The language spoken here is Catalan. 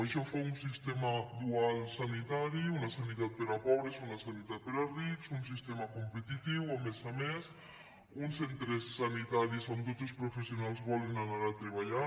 això fa un sistema dual sanitari una sanitat per a pobres una sanitat per a rics un sistema competitiu a més a més uns centres sanitaris on tots els professionals volen anar a treballar